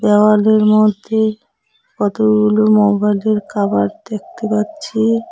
দেওয়ালের মইধ্যে কতগুলো মোবাইলের কাভার দেখতে পাচ্ছি।